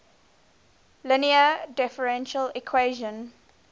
linear differential equation